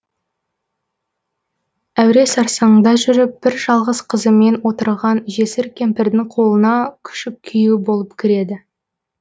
әуре сарсаңда жүріп бір жалғыз қызымен отырған жесір кемпірдің қолына күшік күйеу болып кіреді